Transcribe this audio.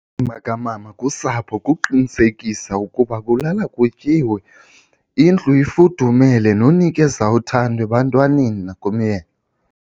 Indima kamama kusapho kukuqinisekisa ukuba kulala kutyiwe indlu ifudumele nonikeza uthando ebantwaneni nakumyeni.